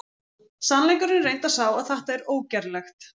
Sannleikurinn er reyndar sá að þetta er ógerlegt!